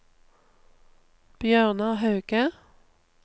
Bjørnar Hauge